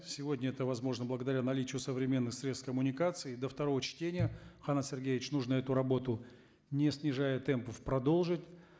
сегодня это возможно благодаря наличию современных средств коммуникации до второго чтения канат сергеевич нужно эту работу не снижая темпов продолжить